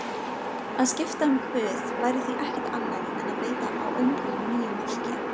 Að skipta um guð væri því ekkert annað en að beita á öngulinn nýjum maðki.